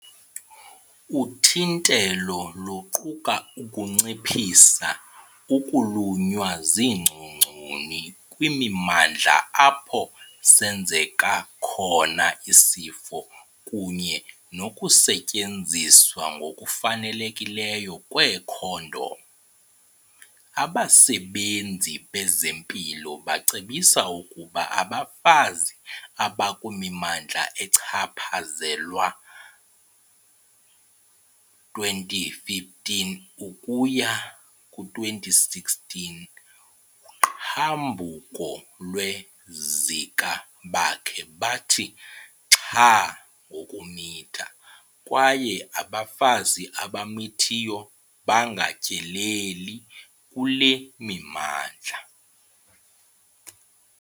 Uthintelo luquka ukunciphisa ukulunywa ziingcongconi kwimimandla apho senzeka khona isifo kunye nokusetyenziswa ngokufanelekileyo kweekhondom. Abasebenzi bezempilo bacebisa ukuba abafazi abakwimimandla echaphazelwa 2015-16 uqhambuko lwe-Zika bakhe bathi xhaa ngokumitha kwaye abafazi abamithiyo bangatyeleli kule mimandla.